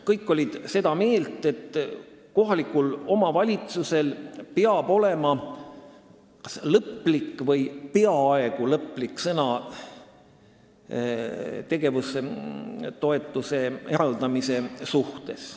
Kõik olid seda meelt, et kohalikul omavalitsusel peab olema õigus öelda kas lõplik või peaaegu lõplik sõna tegevustoetuse eraldamise suhtes.